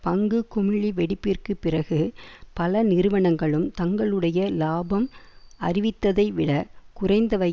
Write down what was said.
பங்கு குமிழி வெடிப்பிற்கு பிறகு பல நிறுவனங்களும் தங்களுடைய இலாபம் அறிவித்ததைவிடக் குறைந்தவையே